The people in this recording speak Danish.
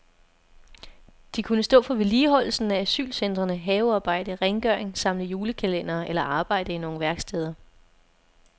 De kunne stå for vedligeholdelsen af asylcentrene, havearbejde, rengøring, samle julekalendere eller arbejde i nogle værksteder.